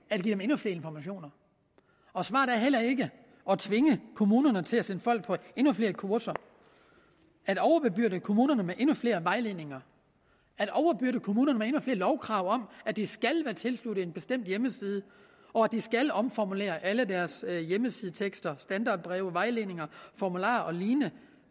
at give dem endnu flere informationer og svaret er heller ikke at tvinge kommunerne til at sende folk på endnu flere kurser at overbebyrde kommunerne med endnu flere vejledninger at overbebyrde kommunerne med endnu flere lovkrav om at de skal være tilsluttet en bestemt hjemmeside og at de skal omformulere alle deres hjemmesidetekster standardbreve vejledninger formularer og lignende